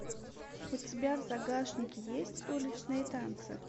у тебя в загашнике есть уличные танцы